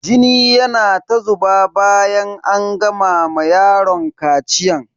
Jini yana ta zuba bayan an gama ma yaron kaciyan.